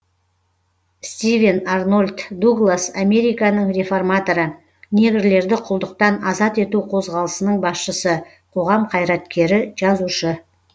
стивен арнольд дуглас американың реформаторы негрлерді құлдықтан азат ету қозғалысының басшысы қоғам қайраткері жазушы